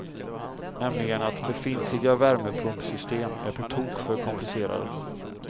Nämligen att befintliga värmepumpsystem är på tok för komplicerade.